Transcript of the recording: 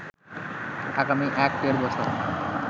আগামী এক-দেড় বছর